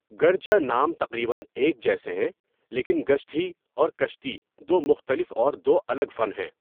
گرچہ نام تقریباً ایک جیسے ہیں لیکن گُشتھی اور کشتی دو مختلف اور دو الگ فن ہیں۔